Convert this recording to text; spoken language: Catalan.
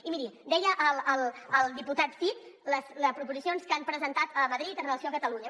i miri deia el diputat cid les proposicions que han presentat a madrid amb relació a catalunya